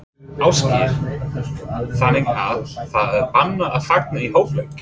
Ásgeir: Þannig að það er bannað að fagna í hálfleik?